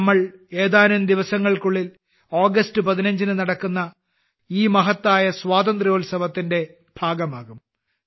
ഇനി നമ്മൾ ഏതാനും ദിവസങ്ങൾക്കുള്ളിൽ ആഗസ്ത് 15ന് നടക്കുന്ന ഈ മഹത്തായ സ്വാതേ്രന്ത്യാത്സവത്തിന്റെ ഭാഗമാകും